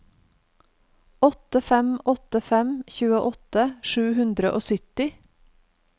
åtte fem åtte fem tjueåtte sju hundre og sytti